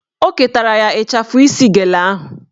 O ketara ya ịchafụ isi gele ahụ